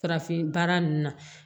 Farafin baara ninnu na